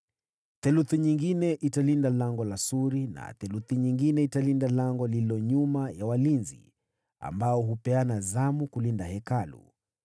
theluthi nyingine Lango la Suri, na theluthi nyingine lango lililo nyuma ya walinzi, ambao hupeana zamu kulinda Hekalu,